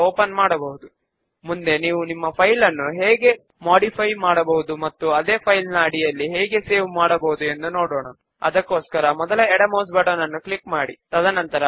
form లోని name field యొక్క పొడవును పెంచుదాముltpausegt అలాగే సబ్ ఫామ్ లో ఉన్న బుక్ టైటిల్ ఫీల్డ్ యొక్క పొడవును కూడా పెంచుదాము